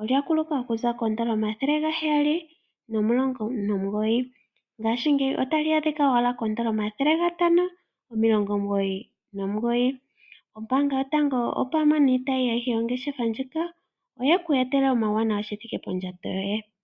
Olya kuluka okuza koodola omathele gaheyali nomulongo nomugoyi, ngaashingeyi otali adhika owala koodola omathele gatano omulongo omugoyi nomugoyi. Ombaanga yotango opwame niitayi yongeshefa ndjika oyeku etela omauwanawa shithike pondjato yoye.